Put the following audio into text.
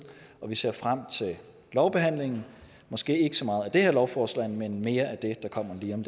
og vi ser frem til lovbehandlingen måske ikke så meget af det her lovforslag men mere af det der kommer lige om